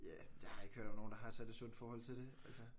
Ja jeg har ikke hørt om nogen der har et særligt sundt forhold til det altså